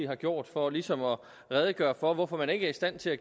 har gjort for ligesom at redegøre for hvorfor man ikke er i stand til at